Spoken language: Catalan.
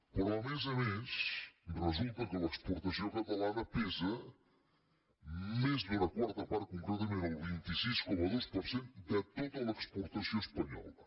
però a més a més resulta que l’exportació catalana pesa més d’una quarta part concretament el vint sis coma dos per cent de tota l’exportació espanyola